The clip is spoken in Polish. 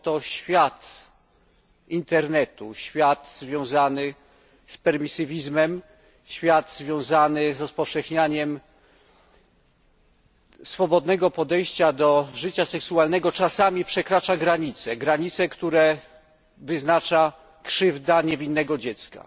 Bowiem to świat internetu, świat związany z permisywizmem, z rozpowszechnianiem swobodnego podejścia do życia seksualnego czasami przekracza granice, które wyznacza krzywda niewinnego dziecka.